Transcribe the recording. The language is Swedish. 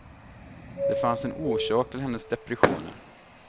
Det fanns en orsak till hennes depressioner.